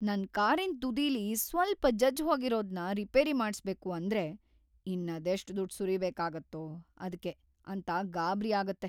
ನನ್‌ ಕಾರಿನ್‌ ತುದಿಲಿ ಸ್ವಲ್ಪ ಜಜ್ಜ್‌ ಹೋಗಿರೋದ್ನ ರಿಪೇರಿ ಮಾಡ್ಸ್ಬೇಕು ಅಂದ್ರೆ ಇನ್ನದೆಷ್ಟ್‌ ದುಡ್ಡ್‌ ಸುರಿಬೇಕಾಗತ್ತೋ ಅದ್ಕೆ ಅಂತ ಗಾಬ್ರಿ ಆಗತ್ತೆ.